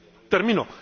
Termino.